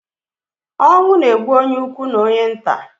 Onwu na-egbu onye ukwu na onye nta